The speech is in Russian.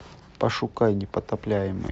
пошукай непотопляемый